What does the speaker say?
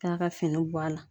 K'a ka fini bɔ a la.